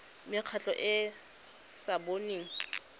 mekgatlho e e sa boneng